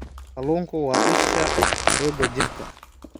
Kalluunku waa isha xoogga jirka.